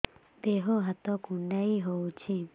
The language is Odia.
ଦେହ ହାତ କୁଣ୍ଡାଇ ହଉଛି